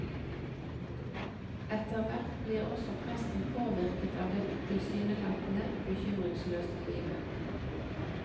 Etter hvert blir også presten påvirket av dette tilsynelatende bekymringsløse livet.